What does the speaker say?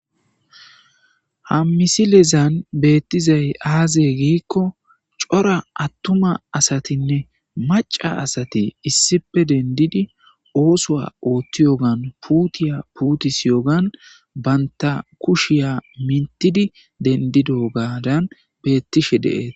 Ha misilezan beettizay aaziye giikko cora attuma asatinne maca asate issipe dendidi oosowa oothti yogan puutiya puutisi yogan banta kushiya mintidi dendido gaadan beettishe deees.